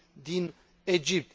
din Egipt,